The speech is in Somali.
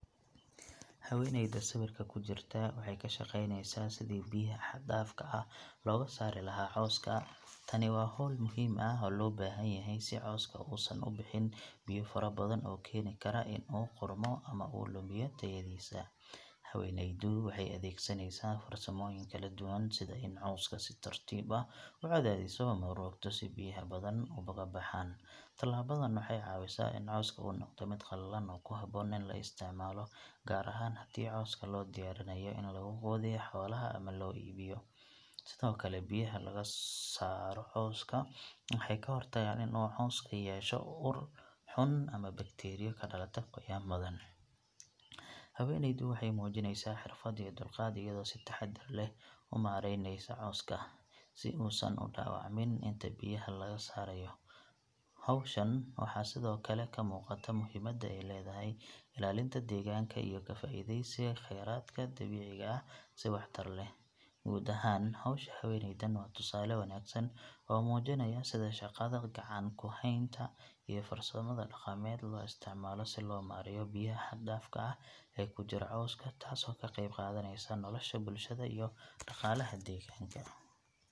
Haweeneyda sawirka ku jirta waxay ka shaqaynaysaa sidii biyaha xad dhaafka ah looga saari lahaa cawska. Tani waa hawl muhiim ah oo loo baahan yahay si cawska uusan u bixin biyo fara badan oo keeni kara in uu qudhmo ama uu lumiyo tayadiisa. Haweeneydu waxay adeegsanaysaa farsamooyin kala duwan sida in ay cawska si tartiib ah u cadaadiso ama u rogto si biyaha badan uga baxaan. Tallaabadan waxay caawisaa in cawska uu noqdo mid qallalan oo ku habboon in la isticmaalo, gaar ahaan haddii cawska loo diyaarinayo in lagu quudiyo xoolaha ama loo iibiyo. Sidoo kale, biyaha laga saaro cawska waxay ka hortagaan in uu cawska yeesho ur xun ama bakteeriyo ka dhalata qoyaan badan. Haweeneydu waxay muujinaysaa xirfad iyo dulqaad, iyadoo si taxaddar leh u maareyneysa cawska, si uusan u dhaawacmin inta biyaha laga saarayo. Hawshan waxaa sidoo kale ka muuqata muhiimadda ay leedahay ilaalinta deegaanka iyo ka faa'iideysiga kheyraadka dabiiciga ah si waxtar leh. Guud ahaan, hawsha haweeneydan waa tusaale wanaagsan oo muujinaya sida shaqada gacan-ku-haynta iyo farsamada dhaqameed loo isticmaalo si loo maareeyo biyaha xad dhaafka ah ee ku jira cawska, taasoo ka qeyb qaadaneysa nolosha bulshada iyo dhaqaalaha deegaanka.